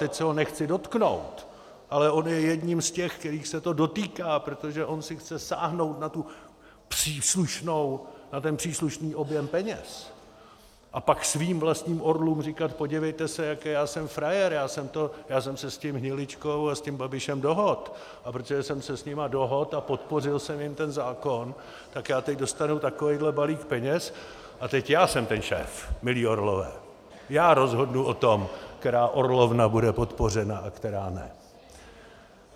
Teď se ho nechci dotknout, ale on je jedním z těch, kterých se to dotýká, protože on si chce sáhnout na ten příslušný objem peněz a pak svým vlastním orlům říkat: podívejte se, jaký já jsem frajer, já jsem se s tím Hniličkou a s tím Babišem dohodl, a protože jsem se s nimi dohodl a podpořil jsem jim ten zákon, tak já teď dostanu takovýhle balík peněz a teď já jsem ten šéf, milí orlové, já rozhodnu o tom, která orlovna bude podpořena a která ne.